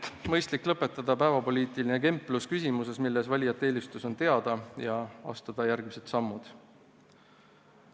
Ehk on mõistlik lõpetada päevapoliitiline kemplus küsimuses, milles valijate eelistus on teada, ja astuda järgmised sammud.